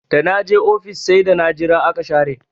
Da na je ofis sai da na jira aka share